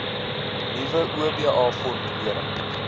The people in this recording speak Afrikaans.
nuwe oba formulering